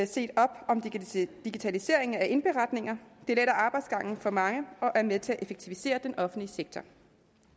set op om digitalisering af indberetninger det letter arbejdsgangen for mange og er med til at effektivisere den offentlige sektor